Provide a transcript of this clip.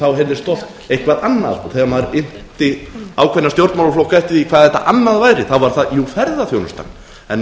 þá heyrðist eitthvað annað og þegar maður innti ákveðna stjórnmálaflokka eftir því hvað þetta annað væri þá var það ferðaþjónustan en